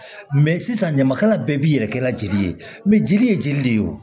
sisan ɲamakala bɛɛ b'i yɛrɛ kɛla jeli ye jeli ye jeli de ye o